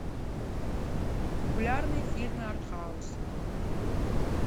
популярные фильмы артхаус